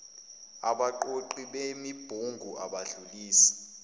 abaqoqi bemibungu abadlulisi